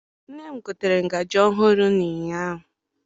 Nne m gotere ngazi ọhụụ ụnyaahụ.